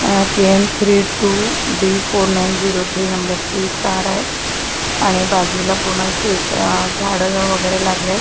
K A three two D four nine zero three number ची car आहे आणि बाजूला पूर्ण शेत अ झाडं वगैरे लागलेत.